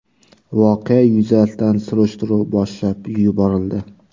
Voqea yuzasidan surishtiruv boshlab yuborildi.